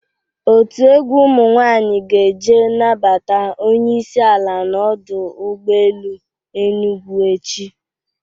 Otu egwu ụmụ nwaanyị ga-eje nabata onyeisi ala n'ọdụ ụgbọ ele Enugwu echi.